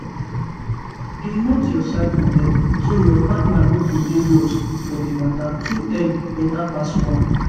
dey note your cycle well so your partner no go dey lost for the matter two heads better pass one.